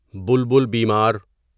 بلبل بیمار